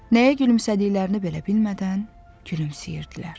Nəyə gülümsədiklərini belə bilmədən gülümsəyirdilər.